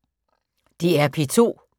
DR P2